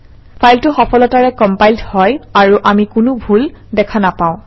ফাইলটো সফলতাৰে কম্পাইলড হয় আৰু আমি কোনো ভুল ভ্ৰান্তি দেখা নাপাওঁ